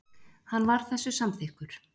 Hann var þessu samþykkur.